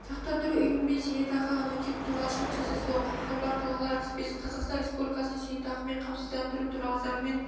сақтандыру ұйымымен зейнетақы аннуитеті туралы шарт жасасуға құқығы бар тұлғалар тізбесі қазақстан республикасында зейнетақымен қамсыздандыру туралы заңмен